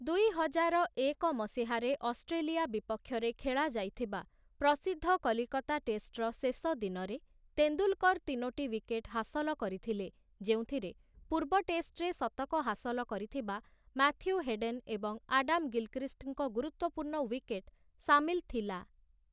ଦୁଇହଜାରଏକ ମସିହାରେ ଅଷ୍ଟ୍ରେଲିଆ ବିପକ୍ଷରେ ଖେଳାଯାଇଥିବା ପ୍ରସିଦ୍ଧ କଲିକତା ଟେଷ୍ଟ୍‌ର ଶେଷ ଦିନରେ, ତେନ୍ଦୁଲକର ତିନୋଟି ୱିକେଟ୍ ହାସଲ କରିଥିଲେ, ଯେଉଁଥିରେ ପୂର୍ବ ଟେଷ୍ଟ୍‌ରେ ଶତକ ହାସଲ କରିଥିବା ମାଥ୍ୟୁ ହେଡେନ୍ ଏବଂ ଆଡାମ୍‌ ଗିଲ୍‌କ୍ରିଷ୍ଟ୍‌ଙ୍କ ଗୁରୁତ୍ୱପୂର୍ଣ୍ଣ ୱିକେଟ୍ ସାମିଲ ଥିଲା ।